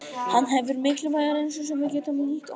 Hann hefur mikilvæga reynslu sem við getum nýtt okkur.